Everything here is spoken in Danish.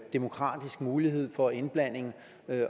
demokratisk mulighed for indblanding